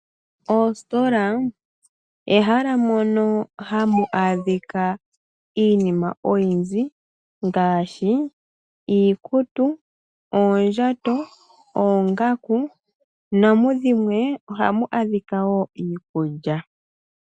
Oostola olyo ehela moka hamu adhika iinima oyindji ngaashi iikutu, oondjato, oongaku namudhimwe ohamu adhika wo iikulya.